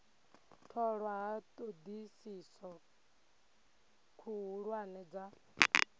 tholwa ha thodisiso khuhulwane dza